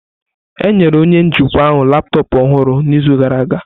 Enyere onye njikwa ahụ laptọọpụ ọhụrụ n'izu gara aga.